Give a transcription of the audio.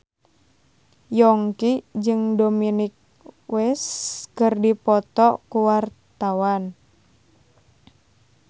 Yongki jeung Dominic West keur dipoto ku wartawan